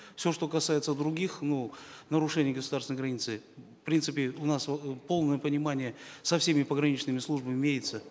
все что касается других ну нарушений государственной границы в принципе у нас э полное понимание со всеми пограничными службами имеется